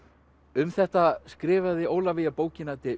um þetta skrifaði Ólafía bókina de